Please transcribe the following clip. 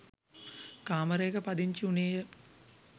කාමරයක පදිංචි උනේය.